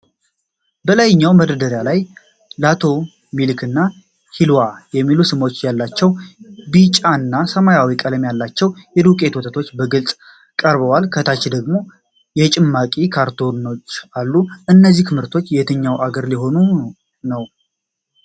በላይኛው መደርደሪያ ላይ "ላቶ ሚልክ" እና "ሒልዋ" የሚሉ ስሞች ያላቸው ቢጫና ሰማያዊ ቀለም ያላቸው የዱቄት ወተቶች በግልጽ ቀርበዋል። ከታች ደግሞ የጭማቂ ካርቶኖች አሉ። እነዚህ ምርቶች የትኛው አገር ሊሆን ነው?